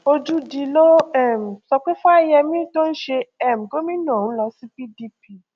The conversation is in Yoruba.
ojúdi ló um sọ pé fáyemí tó ń ṣe um gómìnà ń lọ sí pdp